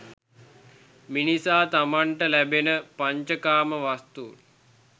මිනිසා තමන්ට ලැබෙන පංචකාම වස්තුන්